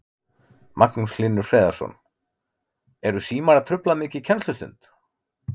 Magnús Hlynur Hreiðarsson: Eru símar að trufla mikið kennslustund?